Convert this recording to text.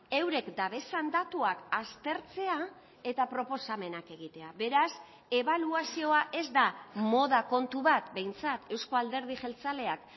eurek dabezan datuak aztertzea eta proposamenak egitea beraz ebaluazioa ez da moda kontu bat behintzat euzko alderdi jeltzaleak